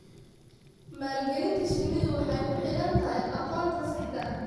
Maalgelinta shinnidu waxay ku xidhan tahay aqoonta saxda ah.